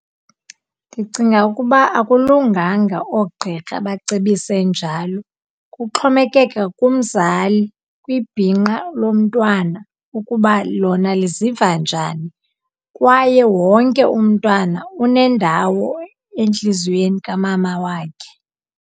Ndicinga ukuba akulunganga oogqirha bacebise njalo. Kuxhomekeka kumzali, kwibhinqa lomntwana ukuba lona liziva njani, kwaye wonke umntana unendawo entliziyweni kamama wakhe.